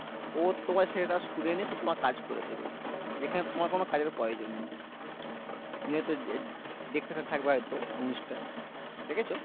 ও তোমার সেটা শুনে নিয়ে সব তোমার কাজ করে দেবে যেখানে তোমার কোনো কাজের প্রয়জন নেই তুমি হয়তো দে দে দেখতে থাকবে হয়তো জিনিসটা দেখেছো